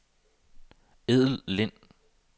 Edel Lind